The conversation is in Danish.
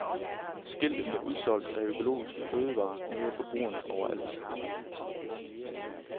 Skiltet med udsolgt af økologiske fødevarer møder forbrugerne overalt.